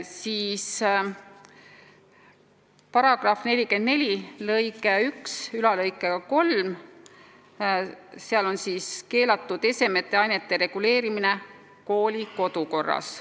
Seaduse § 44 lõikes 13 on kirjas, et seaduses nimetamata, aga koolis keelatud esemete ja ainete loetelu kehtestatakse kooli kodukorras.